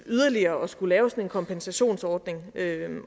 yderligere at skulle lave sådan en kompensationsordning